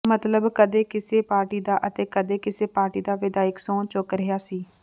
ਮਤਲਬ ਕਦੇ ਕਿਸੇ ਪਾਰਟੀ ਦਾ ਅਤੇ ਕਦੇ ਕਿਸੇ ਪਾਰਟੀ ਦਾ ਵਿਧਾਇਕ ਸਹੰੁ ਚੁੱਕ ਰਿਹਾ ਸੀ